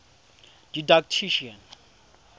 didactician